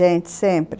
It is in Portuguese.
gente